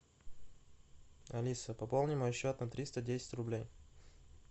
алиса пополни мой счет на триста десять рублей